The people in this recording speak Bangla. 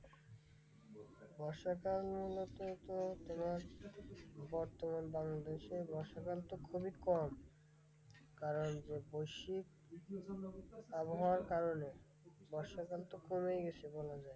বর্ষাকাল মূলততো তোমার বর্তমান বাংলাদেশে বর্ষাকালতো খুবই কম কারণ শীত আবহওয়ার কারণে বর্ষাকালতো কমেই গেছে বলা যায়।